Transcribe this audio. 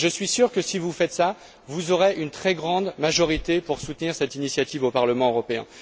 Je suis sûr que si vous faites cela, vous aurez une très grande majorité pour soutenir cette initiative au Parlement européen.